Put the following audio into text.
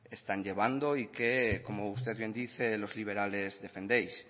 están llevando y que como usted bien dice los liberales defendéis